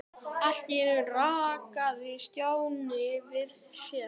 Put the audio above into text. Allt í einu rankaði Stjáni við sér.